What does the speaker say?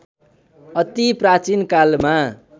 अति प्राचीन कालमा